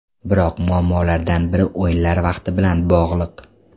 Biroq muammolardan biri o‘yinlar vaqti bilan bog‘liq.